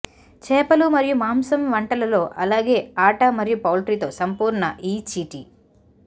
చేపలు మరియు మాంసం వంటలలో అలాగే ఆట మరియు పౌల్ట్రీ తో సంపూర్ణ ఈ చీటి